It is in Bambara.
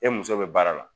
E muso bɛ baara la